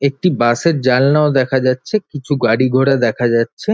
একটি বাস -এর জালনাও দেখা যাচ্ছে কিছু গাড়িঘোড়াও দেখা যাচ্ছে।